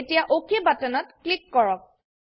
এতিয়া অক বাটনত ক্লিক কৰক